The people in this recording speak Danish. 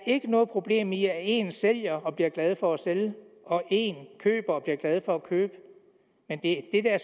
ikke er noget problem i at én sælger og bliver glad for at sælge og at én køber og bliver glad for at købe men det er